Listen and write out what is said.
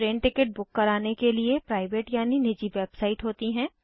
train ticket book कराने के लिए प्राइवेट यानि निजी वेबसाइट होती हैं